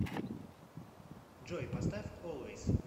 джой поставь олвейс